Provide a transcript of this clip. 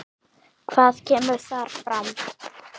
Hvað kemur þar fram?